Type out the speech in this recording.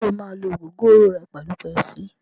Ṣé o máa lú ògógóró ẹ pẹ̀lú pepsi?